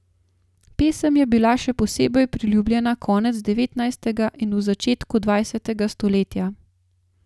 Pesem je bila še posebej priljubljena konec devetnajstega in v začetku dvajsetega stoletja.